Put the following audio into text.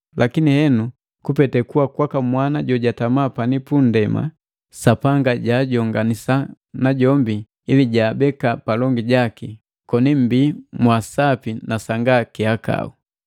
Lakini henu, kupete kuwa kwaka Mwana jojatama pani pundema, Sapanga jaajonganisa najombi ili jaabeka palongi jaki, koni mmbii mwaa sapi na sanga kihakau.